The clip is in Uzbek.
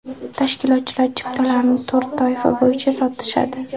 Tashkilotchilar chiptalarni to‘rt toifa bo‘yicha sotishadi.